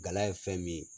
Gala ye fɛn min ye